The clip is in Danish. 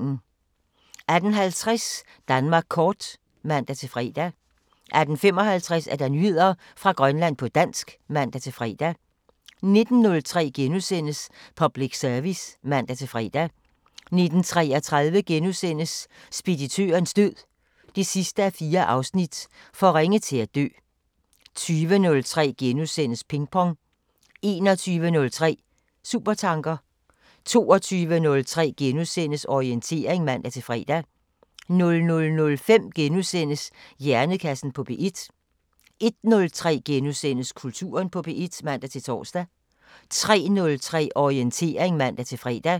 18:50: Danmark kort (man-fre) 18:55: Nyheder fra Grønland på dansk (man-fre) 19:03: Public Service *(man-fre) 19:33: Speditørens død 4:4 – For ringe til at dø * 20:03: Pingpong * 21:03: Supertanker 22:03: Orientering *(man-fre) 00:05: Hjernekassen på P1 * 01:03: Kulturen på P1 *(man-tor) 03:03: Orientering (man-fre)